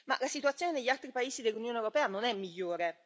Ma la situazione negli altri paesi dell'Unione europea non è migliore.